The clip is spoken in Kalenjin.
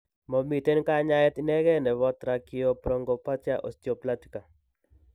Momiiten kanyaayet inegen neebo tracheobronchopathia osteoplastica .